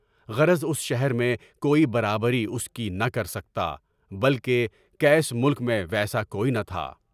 غرض اُس شہر میں کوئی برابری اُس کی نہ کر سکتا، بلکہ قیس ملک میں ویسا کوئی نہ تھا۔